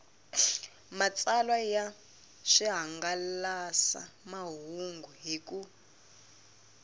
matsalwa ya swihangalasamahungu hi ku